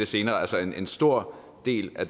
senere altså en stor del af